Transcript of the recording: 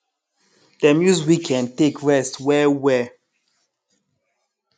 dem use weekend take rest well well